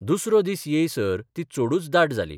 दुसरो दीस येयसर ती चडूच दाट जाली.